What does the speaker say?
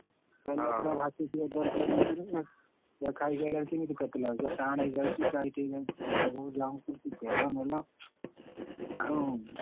ହଁ ହଁ paneer ପୁରା ଭାଷୁଥିବ ତରକାରୀ ଉପରକୁ ତାକୁ ଖାଇକି ଆଇଲାରୁ କେମିତି କଟିଲା ପୁରା ଟାଣ ହେଇଯାଉଛି tight ହେଇଯାଉଛି ମୁଁ ଯାହାକୁ ଧରୁଛି ତେଲ ମେଲ ଆଉ।